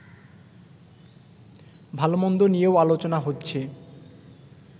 ভালোমন্দ নিয়েও আলোচনা হচ্ছে